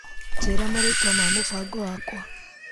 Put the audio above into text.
Njĩra marĩtwa ma mũbango wakwa .